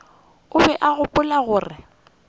o be a gopola gore